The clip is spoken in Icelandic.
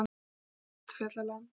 Svartfjallaland